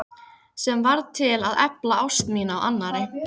Sem varð til að efla ást mína á annarri.